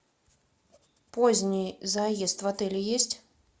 поздний заезд в отель есть